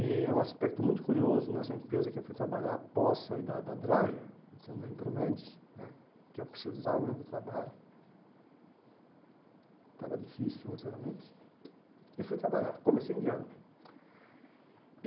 E é um aspecto muito curioso, nessa empresa que eu fui trabalhar após sair da da da né que eu precisava mesmo do trabalho, estava difícil financeiramente, e fui trabalhar, comecei indiano.